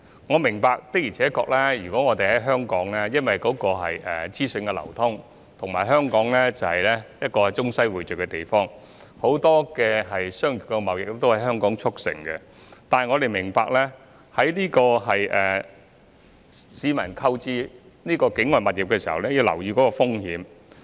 我明白，的而且確，由於香港資訊流通，而且是一個中西匯聚的地方，很多商業貿易也能夠在香港促成；但我們必須明白，市民在購買境外物業時須留意有關風險。